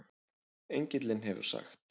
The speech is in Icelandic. Engillinn hefur sagt